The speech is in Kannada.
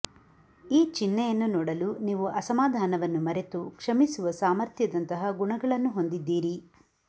ಈ ಚಿಹ್ನೆಯನ್ನು ನೋಡಲು ನೀವು ಅಸಮಾಧಾನವನ್ನು ಮರೆತು ಕ್ಷಮಿಸುವ ಸಾಮರ್ಥ್ಯದಂತಹ ಗುಣಗಳನ್ನು ಹೊಂದಿದ್ದೀರಿ